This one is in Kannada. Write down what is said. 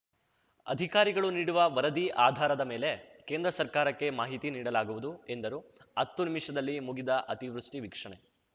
ಅಧಿಕಾರಿಗಳು ನೀಡುವ ವರದಿ ಅಧಾರದ ಮೇಲೆ ಕೇಂದ್ರ ಸರ್ಕಾರಕ್ಕೆ ಮಾಹಿತಿ ನೀಡಲಾಗುವುದು ಎಂದರು ಹತ್ತು ನಿಮಿಷದಲ್ಲಿ ಮುಗಿದ ಅತಿವೃಷ್ಟಿವೀಕ್ಷಣೆ